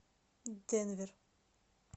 денвер